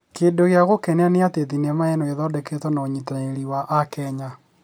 Kĩndũ gĩa gũkenia nĩ atĩ thenema ĩno ĩthondeketwo na ũnyitanĩrĩ wa akenya